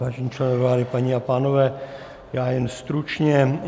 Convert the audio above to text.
Vážení členové vlády, paní a pánové, já jen stručně.